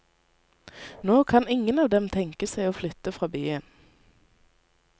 Nå kan ingen av dem tenke seg å flytte fra byen.